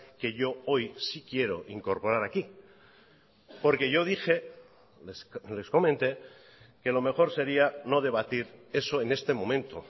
que yo hoy sí quiero incorporar aquí porque yo dije les comenté que lo mejor sería no debatir eso en este momento